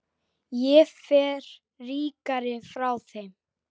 Ég fer ríkari frá þeim.